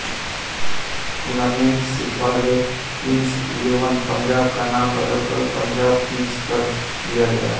tournament से पहले Kings Eleven Punjab का नाम बदलकर पंजाब किंग्स कर दिया गया